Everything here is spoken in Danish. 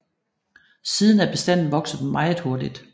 Siden er bestanden vokset meget hurtigt